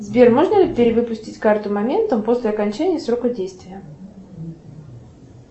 сбер можно ли перевыпустить карту моментом после окончания срока действия